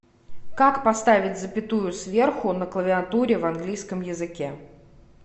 как поставить запятую сверху на клавиатуре в английском языке